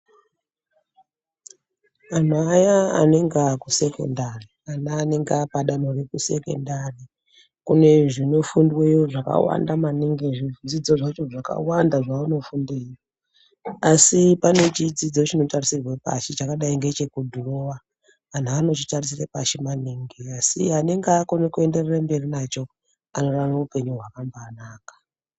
Vanhu vaya anenge aku sekondari kana anenge apadanho reku sekondari kunezvinofundweyo zvakawanda maningi zvidzidzo zvakawanda zvavanofundeyo asi panechidzidzo chinotarisirwe pashi chakadai ngecheku dhirowa anhu anochitarisire pashi maningi asi anenge akona kuenderere mberi nacho anorarama upenyu hwakamba naka.